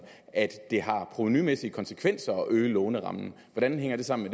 at det har provenumæssige konsekvenser at øge lånerammen hvordan hænger det sammen